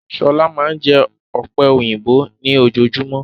Shola máa n jẹ ọ̀pẹ̀yìnbo ni ojojúmọ́.